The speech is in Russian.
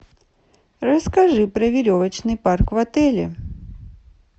расскажи про веревочный парк в отеле